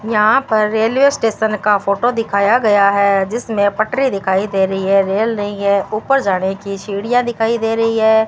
यहां पर railway station का फोटो दिखाया गया है जिसमें पटरी दिखाई दे रही है रेल नहीं है ऊपर जाने की सीढ़ियां दिखाई दे रही है।